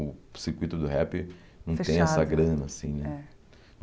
O circuito do rap Fechado Não tem essa grana, assim, né? É